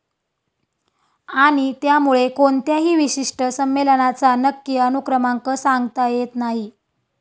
आणि त्यामुळे कोणत्याही विशिष्ट संमेलनाचा नक्की अनुक्रमांक सांगता येत नाही.